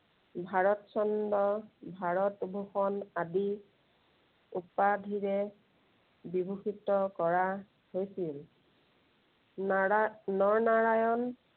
ভাৰত চন্দ্ৰ, ভাৰতভোষণ আদি উপাধিৰে বিভূষিত কৰা হৈছিল। নাৰা~নৰনাৰায়ণ